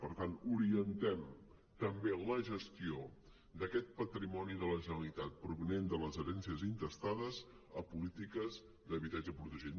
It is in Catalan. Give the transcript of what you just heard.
per tant orientem també la gestió d’aquest patrimoni de la generalitat provinent de les herències intestades a polítiques d’habitatge protegit